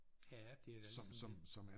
Ja det da ligesom det